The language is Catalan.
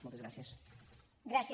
moltes gràcies